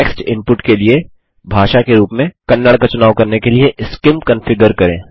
text input के लिए भाषा के रूप में कन्नड़ का चुनाव करने के लिए सीआईएम कंफिगर करें